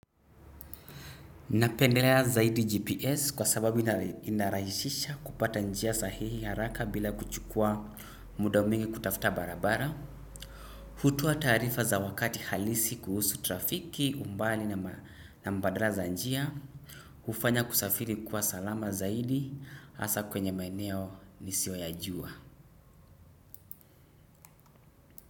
Napendelea zaidi GPS kwa sababu ina rahisisha kupata njia sahihi haraka bila kuchukua muda mwingi kutafuta barabara. Hutoa taarifa za wakati halisi kuhusu trafiki, umbali na mbadala za njia. Hufanya kusafiri kuwa salama zaidi, hasa kwenye maeneo nisiyoyajua.